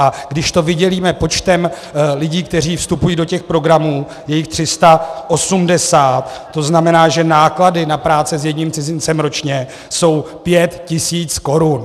A když to vydělíme počtem lidí, kteří vstupují do těch programů, je jich 380, to znamená, že náklady na práce s jedním cizincem ročně jsou pět tisíc korun.